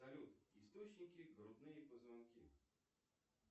салют источники грудные позвонки